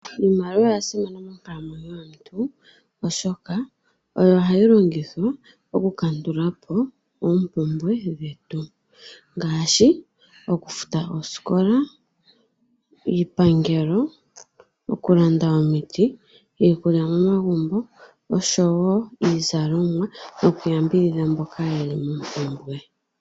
Iimaliwa oya simana monkalamwenyo yomuntu oshoka oyo hayi longithwa oku kandulapo oompumbwe dhetu ngaashi oku futa oosikola, iipangelo, okulanda omiti, iikulya momagumbo niizalomwa noku yambidhidha mboka yeli mompumbwe.